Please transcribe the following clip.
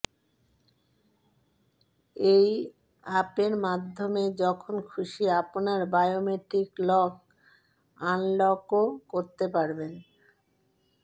এই অ্যাপের মাধ্যমে যখন খুশি আপনার বায়োমেট্রিক লক আনলকও করতে পারবেন